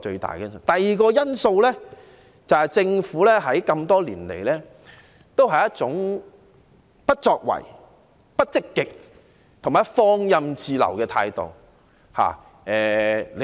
第二，是政府這麼多年來，仍抱持一種不作為、不積極、放任自流的態度。